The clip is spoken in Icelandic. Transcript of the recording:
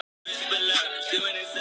Steinn Steinarr, sagði hann lágt.